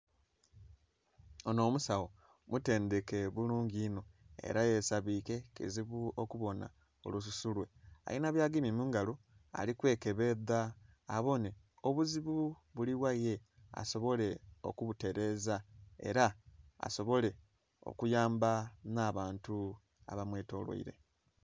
Onho omusagho mutendheke bulungi inho era yesabike kizibu okubonha olususu lwe, alinhibyagemye mungalo alikwekebedha ababonhe obuzibu buligha ye asobole okubutereza era asobole okuyamba nh'abantu abamwetolwaire.